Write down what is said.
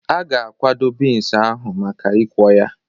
A ga-akwado bins ahụ maka ikwọ ya.